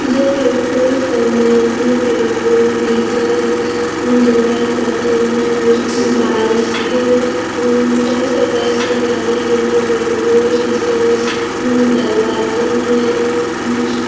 यह petrol pump है जिसमें पेट्रोल डीजल डलवाये जाते हैं बाई अ-- सभी प्रकार के गाड़ी यहाँ पर पेट्रोल डीजल अम्-- डलवाते हैं उ---